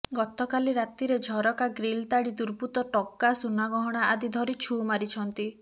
ଗତକାଲି ରାତିରେ ଝରକା ଗ୍ରୀଲ୍ ତାଡ଼ି ଦୁର୍ବୃତ୍ତ ଟଙ୍କା ସୁନାଗହଣା ଆଦି ଧରି ଛୁ ମାରିଛନ୍ତି